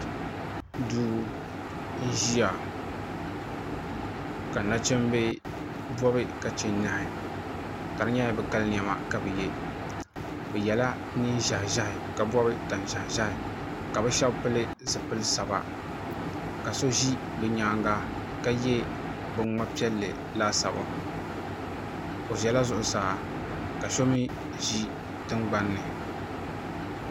Duu n-ʒiya ka nachimba bɔbi ka che nyɛhi ka di nyɛla bɛ kali nɛma ka bɛ ye bɛ yɛla neen' ʒɛhiʒɛhi ka bɔbi tan' ʒɛhiʒɛhi ka bɛ shɛba pili zipilisaba ka so ʒi bɛ nyaaŋa ka ye biŋŋma' piɛlli laasabu o ʒɛla zuɣusaa ka so mi ʒi tiŋɡbani ni